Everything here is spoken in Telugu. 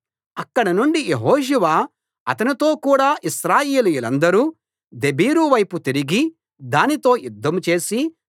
అక్కడి నుండి యెహోషువ అతనితో కూడ ఇశ్రాయేలీయులందరు దెబీరు వైపు తిరిగి దానితో యుద్ధం చేసి